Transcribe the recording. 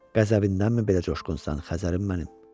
Qəzəbindənmi belə coşqunsan, Xəzərim mənim?